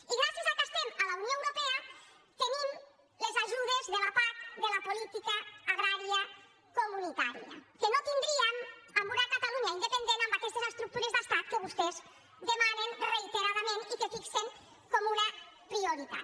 i gràcies al fet que estem a la unió europea tenim les ajudes de la pac de la política agrària comunitària que no tin·dríem amb una catalunya independent amb aquestes estructures d’estat que vostès demanen reiteradament i que fixen com una prioritat